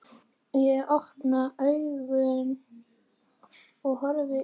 Ég opna augun og horfi í þín.